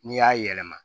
N'i y'a yɛlɛma